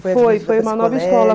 Foi, foi uma nova escola.